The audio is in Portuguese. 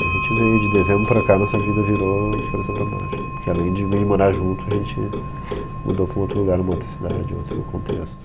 Daí a gente veio, de dezembro para cá a nossa vida virou de cabeça para baixo, porque além de morar junto, a gente mudou para um outro lugar, uma outra cidade, outro contexto